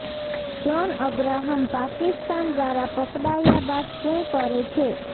John Abraham Pakistan દ્વારા પકડાયા બાદ શુ કરે છે